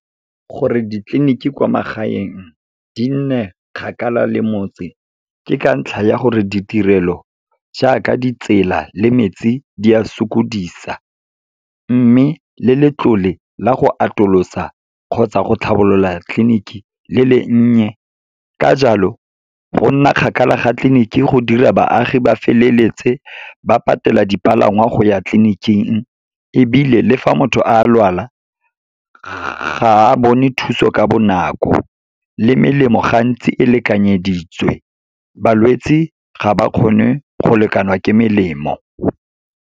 Gore ditleliniki kwa magaeng di nne kgakala le motse, ke ka ntlha ya gore ditirelo jaaka, ditsela le metsi di a sokodisa. Mme, le letlole la go atolosa kgotsa go tlhabolola tleliniki le le nnye, ka jalo go nna kgakala ga tleliniking go dira baagi ba feleletse ba patela dipalangwa go ya tleniking, ebile le fa motho a lwala, ga a bone thuso ka bonako. Le melemo gantsi e lekanyeditswe, balwetse ga ba kgone go lekanwa ke melemo.